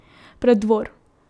Preddvor.